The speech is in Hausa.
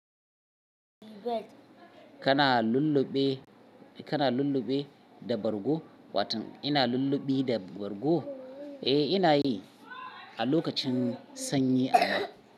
Kana lulluɓe, kana lulluɓe da bargo, watan ina lulluɓi da bargo? Eh, ina yi a lokacin sanyi amma.